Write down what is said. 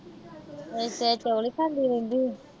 ਉਹ ਕੀ ਚੌਲ ਈ ਖਾਂਦੀ ਰਹਿੰਦੀ ਏ।